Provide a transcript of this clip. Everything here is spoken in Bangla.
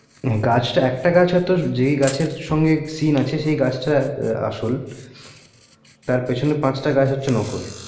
হা গাছটা একটা গাছ তো যে গাছের সাথে seen আছে সেই গাছটা আসল তার পিছনে আর পাঁচটা গাছ হচ্ছে নকল